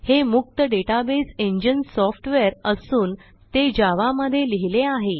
हे मुक्त database engine software असून ते जावा मध्ये लिहिले आहे